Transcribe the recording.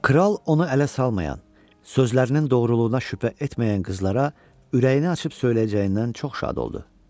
Kral onu ələ salmayan, sözlərinin doğruluğuna şübhə etməyən qızlara ürəyini açıb söyləyəcəyindən çox şad oldu.